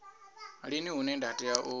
lini hune nda tea u